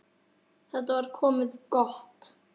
Þetta var komið gott.